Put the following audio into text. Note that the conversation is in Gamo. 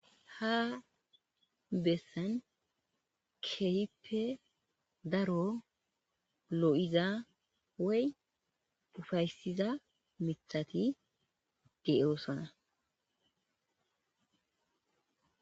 ha bessan kehippe daro loo'iza woy ufaysiza mithati de'oosona